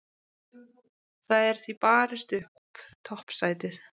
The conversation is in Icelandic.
Það er því barist upp toppsætið.